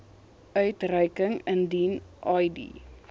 uitreiking indien id